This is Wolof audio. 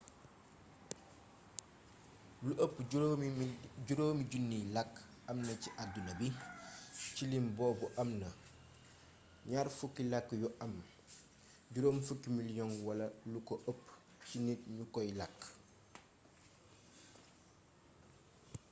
lu ëpp 5 000 làkk amna ci àdduna bi ci lim boobu amna 20 làkk yu am 50 miliyoŋ wala lu ko ëpp ci nit ñu koy làkk